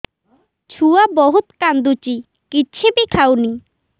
ଛୁଆ ବହୁତ୍ କାନ୍ଦୁଚି କିଛିବି ଖାଉନି